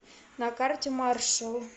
на карте маршал